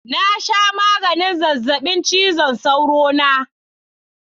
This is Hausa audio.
Na sha maganin zazzabin cizon sauro na